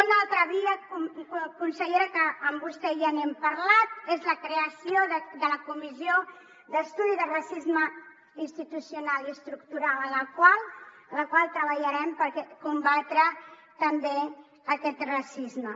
una altra via consellera que amb vostè ja n’hem parlat és la creació de la comissió d’estudi de racisme institucional i estructural en la qual treballarem per combatre també aquest racisme